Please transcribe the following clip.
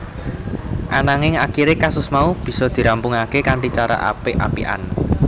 Ananging akiré kasus mau bisa dirampungaké kanthi cara apik apikan